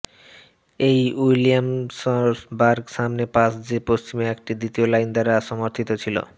এই উইলিয়ামসবার্গ সামনে পাশ যে পশ্চিমে একটি দ্বিতীয় লাইন দ্বারা সমর্থিত ছিল